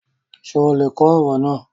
Ṣè ó lè kọ̀ ọ̀rọ̀ naa?